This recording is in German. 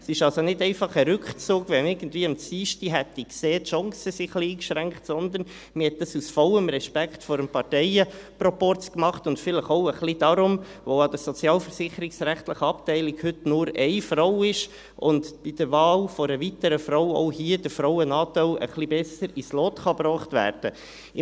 Es ist also nicht einfach ein Rückzug, weil man irgendwie am Dienstag gesehen hätte, dass die Chancen etwas eingeschränkt sind, sondern man tat dies aus vollem Respekt vor dem Parteienproporz und vielleicht auch ein wenig darum, weil heute an der sozialversicherungsrechtlichen Abteilung nur eine Frau ist und mit der Wahl einer weiteren Frau auch hier der Frauenanteil ein wenig besser ins Lot gebracht werden kann.